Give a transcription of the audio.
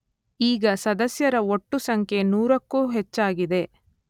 ಈಗ ಸದಸ್ಯರ ಒಟ್ಟು ಸಂಖ್ಯೆ ನೂರಕ್ಕೂ ಹೆಚ್ಚಾಗಿದೆ.